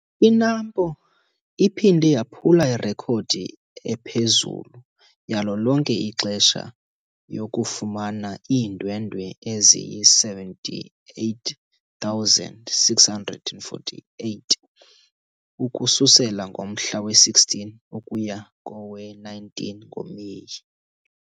I-NAMPO iphinde yaphula irekhodi ephezulu yalo lonke ixesha yokufumana iindwendwe eziyi-78 648 ukususela ngomhla we-16 ukuya kowe-19 ngoMeyi!